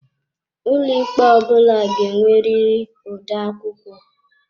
Ụlọikpe ọ bụla ga-enwerịrị odeakwụkwọ.